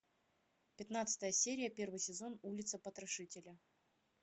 пятнадцатая серия первый сезон улица потрошителя